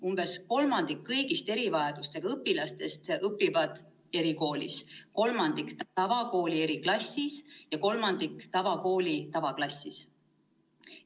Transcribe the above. Umbes kolmandik kõigist erivajadustega õpilastest õpib erikoolis, kolmandik tavakooli eriklassis ja kolmandik tavakooli tavaklassis.